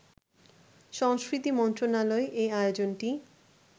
সংস্কৃতি মন্ত্রণালয় এই আয়োজনটি